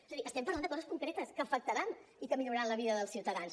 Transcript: és a dir estem parlant de coses concretes que afectaran i que milloraran la vida dels ciutadans